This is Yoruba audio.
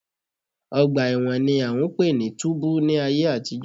Ọgbà ẹ̀wọ̀n ni à ń pè ní túbú ní ayé àtijọ́